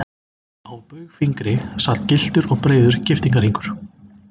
Á baugfingri sat gylltur og breiður giftingarhringur.